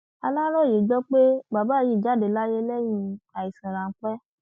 aláròyé gbọ pé bàbá yìí jáde láyé lẹyìn àìsàn ráńpẹ